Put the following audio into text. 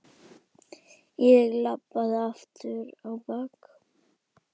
Ég labbaði aftur á bak.